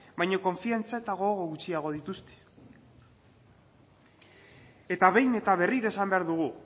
baino konfiantza eta gogo gutxiago dituzte eta behin eta berriro esan behar dugu